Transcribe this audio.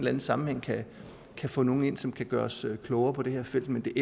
anden sammenhæng kan få nogle ind som kan gøre os klogere på det her felt men